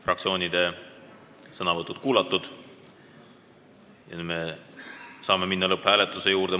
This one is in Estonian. Fraktsioonide sõnavõtud on kuulatud, nüüd saame minna lõpphääletuse juurde.